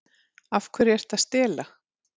Af hverju ertu að stela?